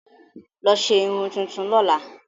Lọ ṣe irun tuntun lọ́la!